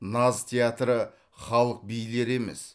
наз театры халық билері емес